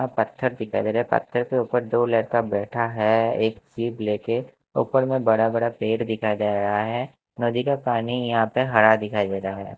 हपत्थर दिखाई दे रहा है पत्थर के ऊपर दो लड़का बैठा है एक सीव लेके ऊपर में बड़ा-बड़ा पेड़ दिखाई दे रहा है नदी का पानी यहां पे हरा दिखाई दे रहा है।